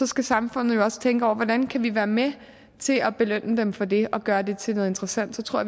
skal samfundet jo også tænke over hvordan kan vi være med til at belønne dem for det og gøre det til noget interessant så tror